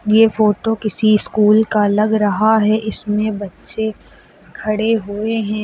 ये फोटो किसी स्कूल का लग रहा है इसमें बच्चे खड़े हुए हैं।